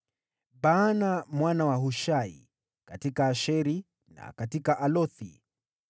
Baana mwana wa Hushai: katika Asheri na katika Bealothi;